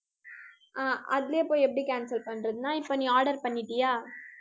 அஹ் அதிலயே போய் எப்படி cancel பண்றதுன்னா, இப்ப நீ order பண்ணிட்டியா